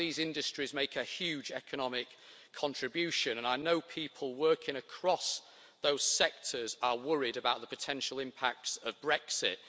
These industries make a huge economic contribution and I know people working across these sectors are worried about the potential impacts of Brexit.